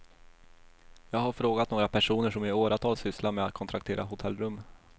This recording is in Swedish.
Jag har frågat några personer som i åratal sysslat med att kontraktera hotellrum.